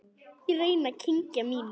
Ég reyni að kyngja mínu.